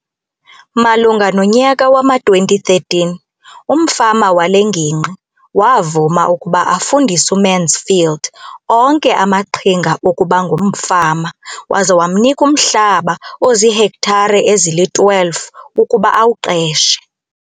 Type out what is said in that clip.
Malunga nonyaka wama-2013, umfama wale ngingqi wavuma ukuba afundise uMansfield onke amaqhinga okuba ngumfama waza wamnika umhlaba ozihektare ezili-12 ukuba awuqeshe.